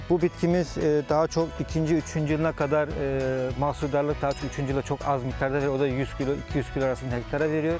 Bu bitkimiz daha çox ikinci, üçüncü yılına qədər məhsuldarlıq daha üçüncü yılda çox az miqdarda və o da 100 kilo, 200 kilo arasında hektara veriyor.